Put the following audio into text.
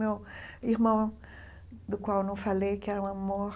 Meu irmão, do qual eu não falei, que era um amor,